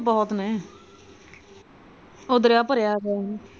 ਬਹੁਤ ਨੇ ਉਹ ਦਰਿਆ ਭਰਿਆ ਪਿਆ ਹੈ ਨਾ।